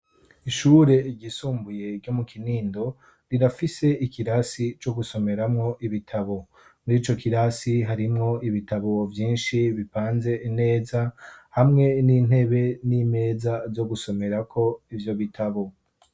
Ishure ryisumbuye ryo mu kinindo rirafise ikirasi co gusomeramwo ibitabo muri co kirasi harimwo ibitabo vyinshi bipanze neza hamwe n'intebe n'imeza zo gusomerako ivyo bitabo.